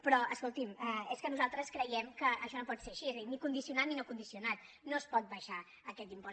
però escolti’m és que nosaltres creiem que això no pot ser així és a dir ni condicionat ni no condicionat no es pot abaixar aquest impost